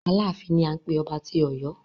Aláàfin ni à ń pé ọba tí Ọ̀yọ́.